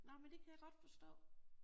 Nej men det kan jeg godt forstå